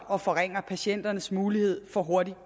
og forringer patienters mulighed for hurtig